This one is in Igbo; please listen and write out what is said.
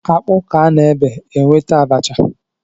Akpu ka a na-ebe, enweta abacha